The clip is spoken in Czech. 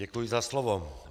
Děkuji za slovo.